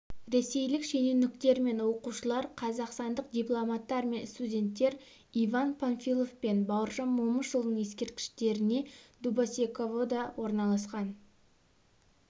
ресейлік шенеуніктер мен оқушылар қазақстандық дипломаттар мен студенттер иван панфилов пен бауыржан момышұлының ескерткіштеріне дубосековода орналасқан